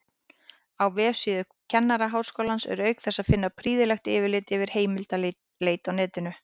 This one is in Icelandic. Á vefsíðu Kennaraháskólans er auk þess að finna prýðilegt yfirlit yfir heimildaleit á netinu.